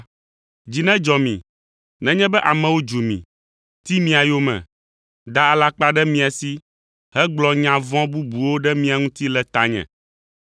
Dzi nedzɔ mi nenye be amewo dzu mi, ti mia yome, da alakpa ɖe mia si hegblɔ nya vɔ̃ bubuwo ɖe mia ŋuti le tanye.